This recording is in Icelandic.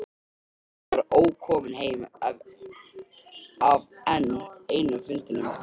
Pabbi var ókominn heim af enn einum fundinum.